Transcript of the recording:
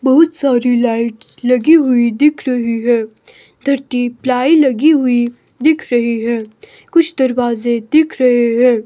बहुत सारी लाइट्स लगी हुई दिख रही है पलाई लगी हुई दिख रही है कुछ दरवाजे दिख रहे है।